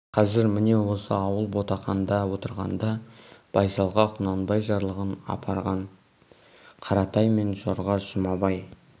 қазір міне осы ауыл ботақанда отырғанда байсалға құнанбай жарлығын апарған қаратай мен жорға жұмабай